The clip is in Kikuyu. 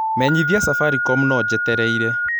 menyithia safaricom no njetereire